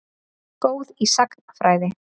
Góð í sagnfræði.